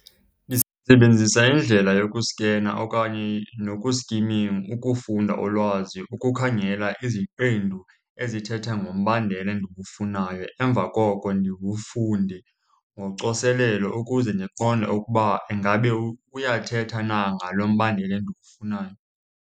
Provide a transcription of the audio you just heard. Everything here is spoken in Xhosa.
Ndisebenzisa indlela yokuskena okanye ukufunda ulwazi, ukukhangela iziqendu ezithetha ngombandela endiwufunayo. Emva koko ndiwufunde ngocoselelo ukuze ndiqonde ukuba ingabe uyathetha na ngalo mbandela endiwufunayo.